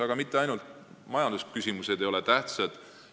Aga mitte ainult majandusküsimused ei ole tähtsad.